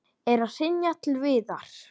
Er að hrynja til viðar.